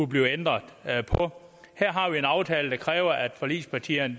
blive ændret her har vi en aftale der kræver at forligspartierne